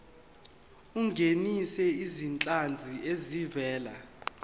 ungenise izinhlanzi ezivela